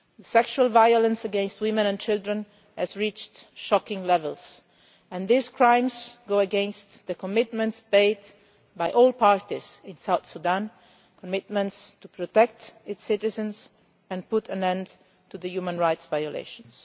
Sexual violence against women and children has reached shocking levels and these crimes go against the commitments made by all parties in South Sudan commitments to protect its citizens and put an end to the human rights violations.